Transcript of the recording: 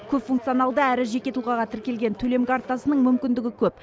көпфункционалды әрі жеке тұлғаға тіркелген төлем картасының мүмкіндігі көп